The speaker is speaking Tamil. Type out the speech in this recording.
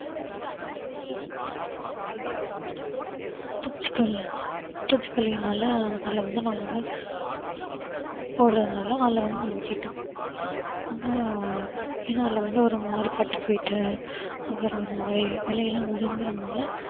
பூச்சிகொல்லு பூச்சிக்கொல்லியினாலஅதுல வந்து நாங்க வந்து போடறதுனால நாங்க வெட்டிட்டோம் ஆனா ஏன்னா அதுல வந்து ஒரு மாதிரி பட்டு போயிட்டு அப்புறம் ஒரு மாதிரி இலையெல்லாம் உதிர்ந்ததுனால